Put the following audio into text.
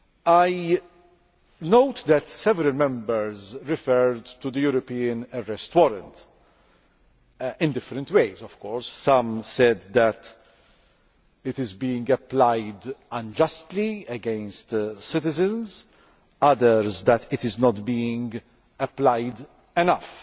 I note that several Members referred to the European Arrest Warrant in different ways, of course some said that it is being applied unjustly against citizens, others that it is not being applied enough.